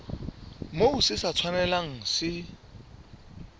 moo se sa tshwanelang se